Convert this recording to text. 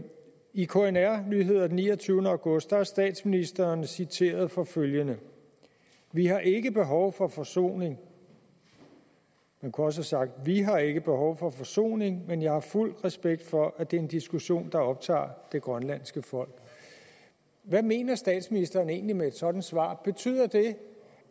i knr nyheder den niogtyvende august er statsministeren citeret for følgende vi har ikke behov for forsoning man kunne også have sagt vi har ikke behov for forsoning men jeg har fuld respekt for at det er en diskussion der optager det grønlandske folk hvad mener statsministeren egentlig med et sådant svar betyder det